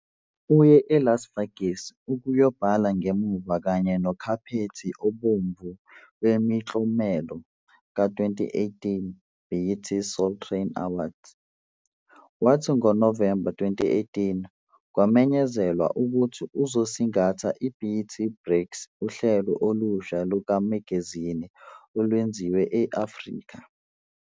Uye eLas Vegas ukuyobhala ngemuva kanye nokhaphethi obomvu wemiklomelo ka-2018 "BET Soul Train Awards" kwathi ngoNovemba 2018 kwamenyezelwa ukuthi uzosingatha iBET Breaks - uhlelo olusha lukamagazini olwenziwe e-Afrika.